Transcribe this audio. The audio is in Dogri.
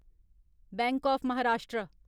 bank of Maharashtra